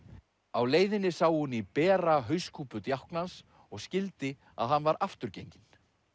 á leiðinni sá hún í bera hauskúpu djáknans og skildi að hann var afturgenginn